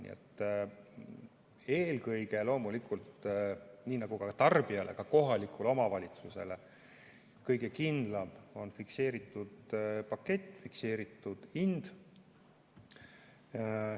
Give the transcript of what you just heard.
Nii et eelkõige loomulikult, nii nagu tarbijale nii ka kohalikule omavalitsusele kõige kindlam on fikseeritud pakett, fikseeritud hind.